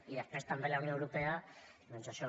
i després també la unió europea doncs això